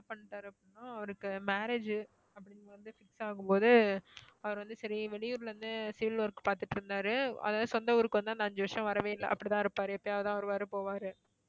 என்ன பண்ணிட்டாரு அப்படின்னா, அவருக்கு marriage அப்படின்னு வந்து fix ஆகும்போது அவரு வந்து சரி வெளியூருல இருந்து field work பாத்துட்டிருந்தாரு அதாவது சொந்த ஊருக்கு வந்து அஞ்சு வருஷம் வரவே இல்ல. அப்படி தான் இருப்பாரு எப்பயாவது தான் வருவாரு போவாரு.